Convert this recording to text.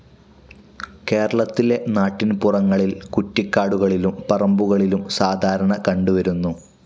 കേരളത്തിലെ നാട്ടിൻപുറങ്ങളിൽ കുറ്റിക്കാടുകളിലും പറമ്പുകളിലും സാധാരണ കണ്ടുവരുന്നു.